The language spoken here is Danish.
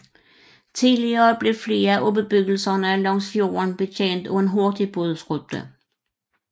Tidligere blev flere af bebyggelserne langs fjorden betjent af en hurtigbådrute